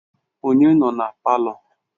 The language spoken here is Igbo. Onye nọ na palọ?